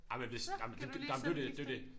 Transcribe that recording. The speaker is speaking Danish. Så kan du lige sidde med de udgifter